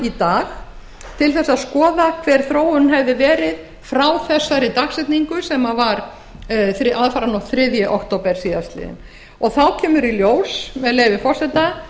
í dag til að skoða hver þróunin hefði verið frá þessari dagsetningu aðfaranótt þriðja október síðastliðinn og þá kemur í ljós með leyfi forseta